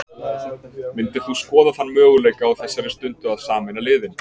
Myndir þú skoða þann möguleika á þessari stundu að sameina liðin?